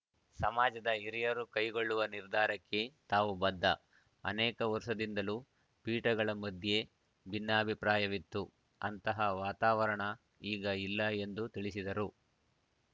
ಸಮಾಜದ ಹಿರಿಯರು ಕೈಗೊಳ್ಳುವ ನಿರ್ಧಾರಕ್ಕೆ ತಾವು ಬದ್ಧ ಅನೇಕ ವರ್ಷದಿಂದಲೂ ಪೀಠಗಳ ಮಧ್ಯೆ ಭಿನ್ನಾಭಿಪ್ರಾಯವಿತ್ತು ಅಂತಹ ವಾತಾವರಣ ಈಗ ಇಲ್ಲ ಎಂದು ತಿಳಿಸಿದರು